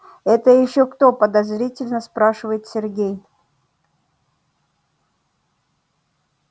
это ещё кто подозрительно спрашивает сергей